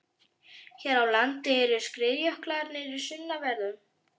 Hér á landi eru skriðjöklarnir í sunnanverðum